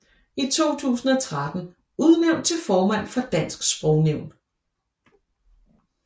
I 2013 udnævnt til formand for Dansk Sprognævn